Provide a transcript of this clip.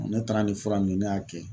ne taara ni fura min ye ne y'a kɛ